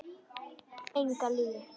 Enga lygi.